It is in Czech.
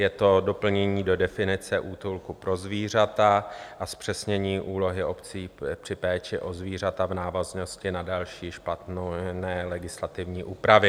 Je to doplnění do definice útulku pro zvířata a zpřesnění úlohy obcí při péči o zvířata v návaznosti na další špatné (?) legislativní úpravy.